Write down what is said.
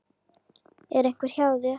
Er einhver hjá þér?